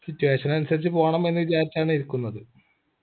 situation അനുസരിച്ച് പോണമെന്ന് വിചാരിച്ചാണ് ഇരിക്കുന്നത്